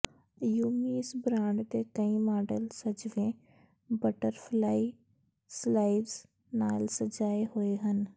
ਯੂਮੀ ਇਸ ਬ੍ਰਾਂਡ ਦੇ ਕਈ ਮਾਡਲ ਸਜਵੇਂ ਬਟਰਫਲਾਈ ਸਲਾਈਵਜ ਨਾਲ ਸਜਾਏ ਹੋਏ ਹਨ